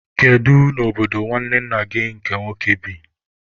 Kedu n'obodo nwanne nna gị nke nwoke bi?